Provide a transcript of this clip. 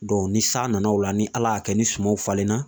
ni san nana o la ni Ala y'a kɛ ni sumaw falenna